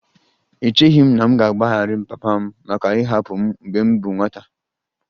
Echeghị m na m ga-agbaghara papa m maka ịhapụ m mgbe m bụ nwata